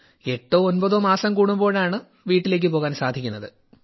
എട്ടോ ഒൻപതോ മാസം കൂടുമ്പോഴാണ് വീട്ടിലേക്ക് പോകാൻ സാധിക്കുന്നത്